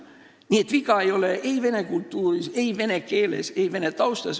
Nii et viga ei ole ei vene kultuuris, ei vene keeles ega vene taustas.